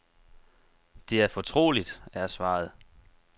Det er fortroligt, er svaret.